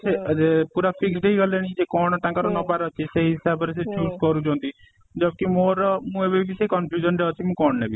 ରେ ପୁରା fixed ହେଇ ଗଲେଣି ଯେ କ'ଣ ତାଙ୍କର ନବାର ଅଛି ସେଇ ହିସାବ ରେ ସେ କରୁଛନ୍ତି ଯା କି ମୋର ମୁଁ ଏବେ ବି ସେଇ confusion ରେ ଅଛି ମୁଁ କ'ଣ ନେବି